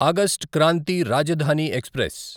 August Kranti Rajdhani express